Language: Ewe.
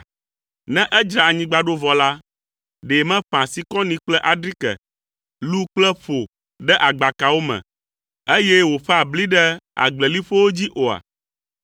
Ne edzra anyigba ɖo vɔ la, ɖe meƒãa sikɔni kple adrike, lu kple ƒo ɖe agbakawo me, eye woƒãa bli ɖe agbleliƒowo dzi oa?